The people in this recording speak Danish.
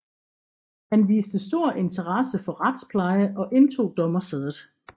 Han viste stor interesse for retspleje og indtog dommersædet